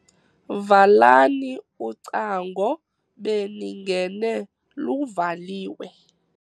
Valani ucango beningene luvaliwe.